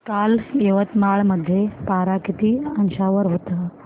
काल यवतमाळ मध्ये पारा किती अंशावर होता